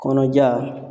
Kɔnɔja